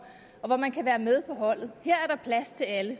og være med på holdet her er der plads til alle